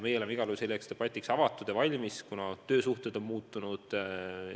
Meie oleme igal juhul selleks debatiks avatud ja valmis, kuna töösuhted on muutunud.